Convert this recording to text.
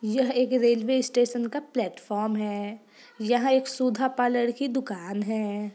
यह एक railway station का प्लेटफार्म है। यह एक सुधा पार्लर की दुकान है।